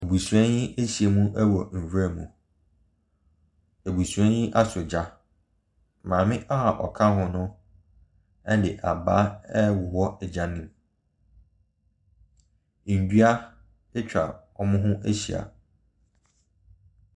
Abusua ahyiam wɔ nwuram. Abusua yi afa gya. Maame a ɔka ho no de abaa rewowɔ gya no mu. Nnua atwa wɔn ho ahyia.